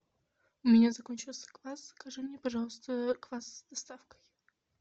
у меня закончился квас закажи мне пожалуйста квас с доставкой